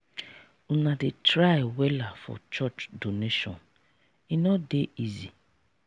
una dey try wella for church donation e no dey easy.